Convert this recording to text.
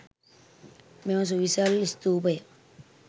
මෙම සුවිසල් ස්තූපය